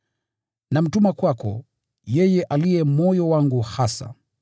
Namtuma kwako, yeye aliye moyo wangu hasa.